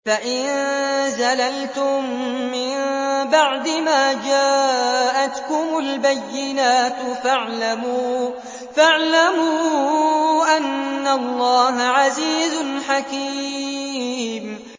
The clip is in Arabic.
فَإِن زَلَلْتُم مِّن بَعْدِ مَا جَاءَتْكُمُ الْبَيِّنَاتُ فَاعْلَمُوا أَنَّ اللَّهَ عَزِيزٌ حَكِيمٌ